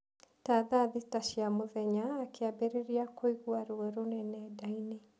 Ta thaa thita cia mũthenya, akĩambĩrĩria kũigua ruo rũnene nda-inĩ.